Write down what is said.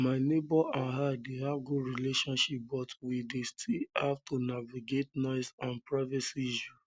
my neighbors and i dey have good relationship but we dey still have to navigate noise and privacy issues